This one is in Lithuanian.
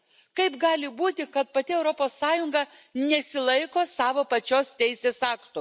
Kaip gali būti, kad pati Europos Sąjunga nesilaiko savo pačios teisės aktų?